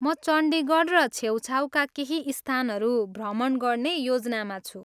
म चण्डीगढ र छेउछाउका केही स्थानहरू भ्रमण गर्ने योजनामा छु।